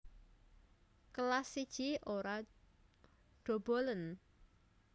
Kelas I Ora dobolen